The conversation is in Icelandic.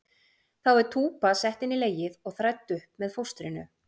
Þá er túpa sett inn í legið og þrædd upp með fóstrinu.